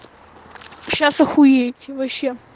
сейчас ахуеете вообще